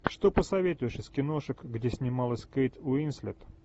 что посоветуешь из киношек где снималась кейт уинслет